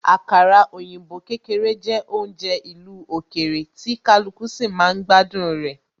Àkàrà òyìnbó kékeré jẹ́ oúnjẹ ìlú òkèèrè, tí kaluku sì máa ń gbádùn rẹ